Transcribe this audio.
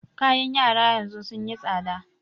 Kayan yara yanzu sun yi tsaɗa.